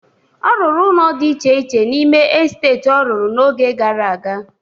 Ọ rụrụ ụnọ dị iche iche n'ime esteti ọ rụrụ n'oge gara aga.